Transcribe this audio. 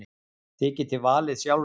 Þið getið valið sjálfir.